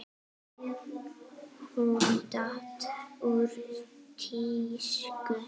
Hún datt úr tísku.